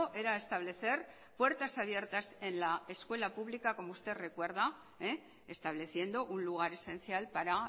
era establecer puertas abiertas en la escuela pública como usted recuerda estableciendo un lugar esencial para